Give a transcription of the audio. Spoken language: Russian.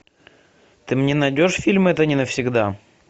ты мне найдешь фильм это не навсегда